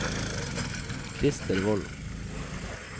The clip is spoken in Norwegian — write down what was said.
Krister Volden